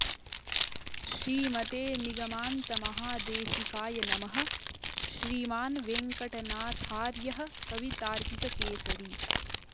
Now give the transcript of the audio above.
श्रीमते निगमान्त महादेशिकाय नमः श्रीमान् वेङ्कटनाथार्यः कवितार्किक केसरी